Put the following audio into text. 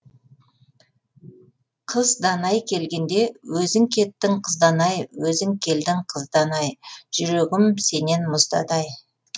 қыз данай келгенде өзің кеттің қыз данай өзің келдің қыз данай жүрегім сенен мұздады ай